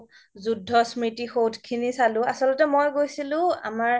যুদ্ধ স্মৃতিসৌধ খিনি চালো আচলতে মই গৈছিলো আমাৰ